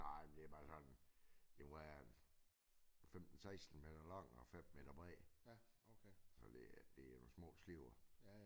Nej men det er bare sådan det må være en 15 16 meter lang og 5 meter bred så det det er nogle små skibe